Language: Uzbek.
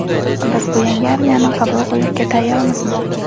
Biz bu yangi armiyani qabul qilishga tayyormizmi?.